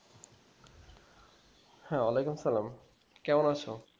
হ্যাঁ, ওয়ালাইকুম সালাম কেমন আছো?